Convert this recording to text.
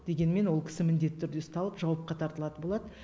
дегенмен ол кісі міндетті түрде ұсталып жауапқа тартылатын болады